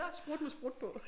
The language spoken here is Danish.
Sprut med sprut på